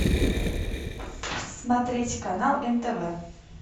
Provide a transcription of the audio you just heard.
смотреть канал нтв